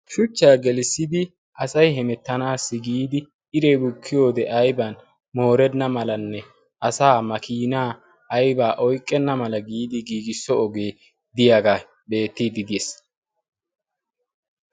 Shuchchaa gelissidi asay hemettanaassi giidi iri bukkiyo wode ayban moorenna malanne asaa makiinaa aybaa oyqqenna mala giidi giigisso ogee diyaagaa beettiidi diyees.